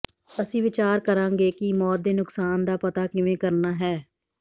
ਅਸੀਂ ਵਿਚਾਰ ਕਰਾਂਗੇ ਕਿ ਮੌਤ ਦੇ ਨੁਕਸਾਨ ਦਾ ਪਤਾ ਕਿਵੇਂ ਕਰਨਾ ਹੈ